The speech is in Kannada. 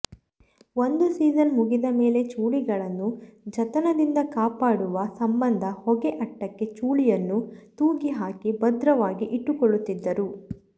ಒಂದು ಸೀಜನ್ ಮುಗಿದ ಮೇಲೆ ಚೂಳಿಗಳನ್ನು ಜತನದಿಂದ ಕಾಪಾಡುವ ಸಂಬಂಧ ಹೊಗೆ ಅಟ್ಟಕ್ಕೆ ಚೂಳಿಯನ್ನು ತೂಗಿ ಹಾಕಿ ಭದ್ರವಾಗಿ ಇಟ್ಟುಕೊಳ್ಳುತ್ತಿದ್ದರು